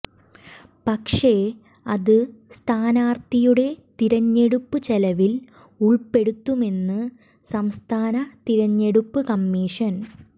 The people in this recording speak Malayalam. പക്ഷേ അത് സ്ഥാനാർഥിയുടെ തിരഞ്ഞെടുപ്പു ചെലവിൽ ഉൾപ്പെടുത്തുമെന്ന് സംസ്ഥാന തിരഞ്ഞെടുപ്പ് കമ്മിഷൻ